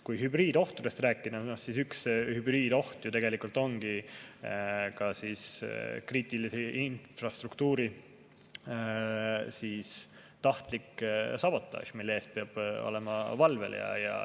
Kui hübriidohtudest rääkida, siis üks hübriidoht ju tegelikult ongi kriitilise infrastruktuuri tahtlik sabotaaž, mille eest peab olema valvel.